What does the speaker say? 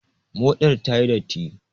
Moɗar ta yi datti.